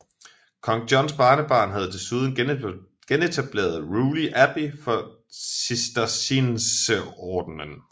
Kong Johns barnebarn havde desuden genetableret Rewley Abbey for Cistercienserordenen